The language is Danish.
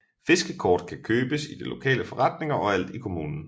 Fiskekort kan købes i de lokale forretninger overalt i kommunen